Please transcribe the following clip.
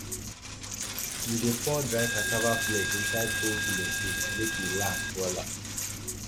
we dey pour dry cassava flake inside old pillowcase make e e last wella